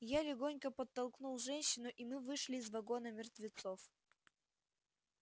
я легонько подтолкнул женщину и мы вышли из вагона мертвецов